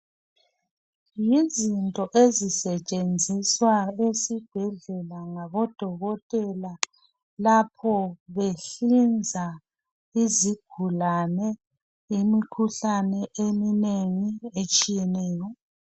Yizinto ezisetshenziswa esibhedlela ngabodokotela. Lapho behlinza izigulane, imikhuhlane eminengi etshiyeneyo.